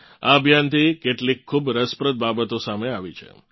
આ અભિયાનથી કેટલીક ખૂબ રસપ્રદ બાબતો સામે આવી છે